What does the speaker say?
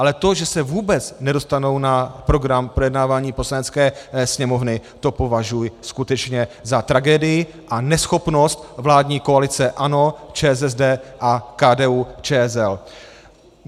Ale to, že se vůbec nedostanou na program projednávání Poslanecké sněmovny, to považuji skutečně za tragédii a neschopnost vládní koalice ANO, ČSSD a KDU-ČSL.